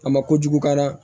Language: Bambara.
A ma kojugu ka d'a la